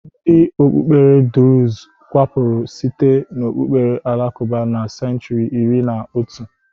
Ndị okpukpere drụz kewapụrụ site n'okpukpere alakụba na senchuri iri na otu.